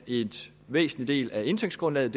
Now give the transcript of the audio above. en væsentlig del af indtægtsgrundlaget